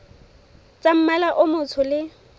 tsa mmala o motsho le